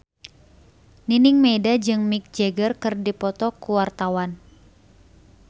Nining Meida jeung Mick Jagger keur dipoto ku wartawan